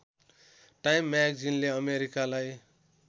time म्यागेजिनले अमेरिकालाई